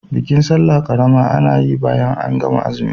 Bikin sallah ƙarama ana yin bayan an gama zumi.